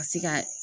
Ka se ka